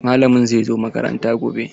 Malamin zai zo makaranta gobe.